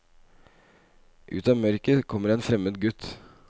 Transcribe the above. Ut av mørket kommer en fremmed gutt.